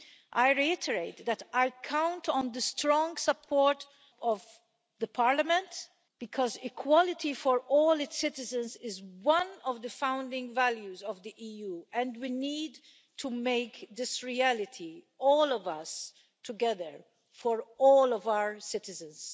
I reiterate that I count on the strong support of Parliament because equality for all its citizens is one of the founding values of the EU, and we need to make this a reality, all of us together, for all of our citizens.